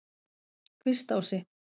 Kvistási